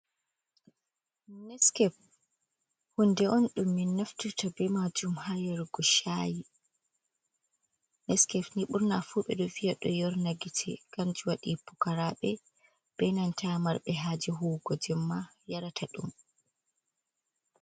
Niskef, shunde on ɗum min naftirta be majum ha yarugo chayi. Neskape ni burnafu ɓeɗo viya ɗo yorna gite, kanji wadi pukarabe benanta marbe haje huwugo jemma yarata ɗum.